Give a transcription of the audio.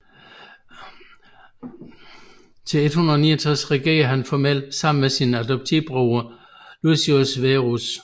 Til 169 regerede han formelt sammen med sin adoptivbroder Lucius Verus